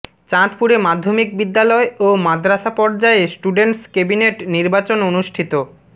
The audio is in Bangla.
চাঁদপুরে মাধ্যমিক বিদ্যালয় ও মাদ্রাসা পর্যায়ে স্টুডেন্টস কেবিনেট নির্বাচন অনুষ্ঠিত